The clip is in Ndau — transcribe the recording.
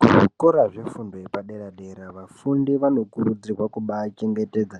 Kuzvikora zvefundo yepadera dera vafundi vanokurudzirwa kubaachengetedza